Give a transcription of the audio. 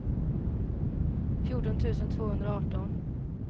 fjorton tusen tvåhundraarton